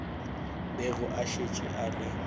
bego a šetše a le